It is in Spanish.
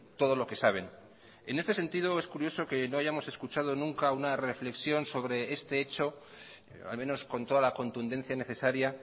todo lo que saben en este sentido es curioso que no hayamos escuchado nunca una reflexión sobre este hecho al menos con toda la contundencia necesaria